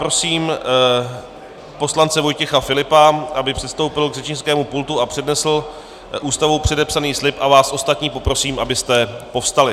Prosím poslance Vojtěch Filipa, aby předstoupil k řečnickému pultu a přednesl Ústavou předepsaný slib, a vás ostatní poprosím, abyste povstali.